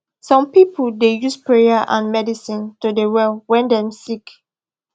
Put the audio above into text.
some pipu da use prayer and medicine to de well wen dem sik